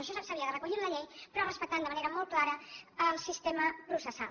això s’havia de recollir en la llei però respectant de manera molt clara el sistema processal